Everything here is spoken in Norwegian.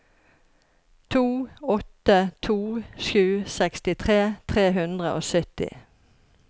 to åtte to sju sekstitre tre hundre og sytti